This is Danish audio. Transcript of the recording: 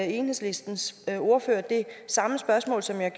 enhedslistens ordfører det samme spørgsmål som jeg